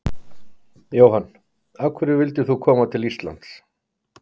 Jóhann: Af hverju vildir þú koma til Íslands?